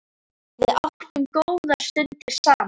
Við áttum góðar stundir saman.